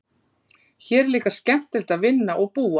Hér er líka skemmtilegt að vinna og búa.